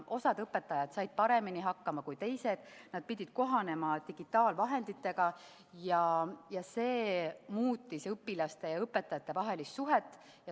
Osa õpetajaid sai paremini hakkama kui teised, nad pidid kohanema digitaalvahenditega ja see muutis õpilaste ning õpetajate vahelist suhet.